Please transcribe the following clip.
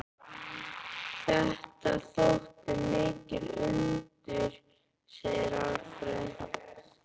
Þetta þóttu mikil undur, segir Alfreð.